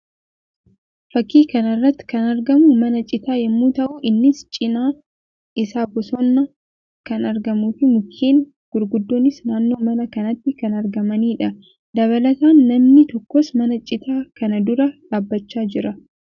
Fakkii kana irratti kan argamu mana citaa yammuu ta'u; innis cinaa isaa bosonni kan argamuu fi mukeen gurguddoonis naannoo mana kanaatti kan argamanii dha. Dabalataan namni tokkos mana citaa kana dura dhaabbachaa jira.